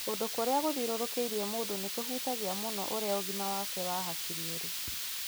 Kũndũ kũrĩa gũthiũrũrũkĩirie mũndũ nĩ kũhutagia mũno ũrĩa ũgima wake wa hakiri ũrĩ.